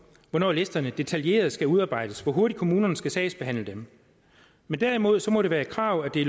hvornår listerne detaljeret skal udarbejdes og hvor hurtigt kommunerne skal sagsbehandle dem men derimod må det være et krav at det